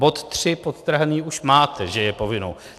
Bod tři podtrhaný už máte, že je povinnou.